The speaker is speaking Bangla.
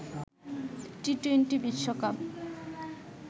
টি-টোয়েন্টি বিশ্বকাপ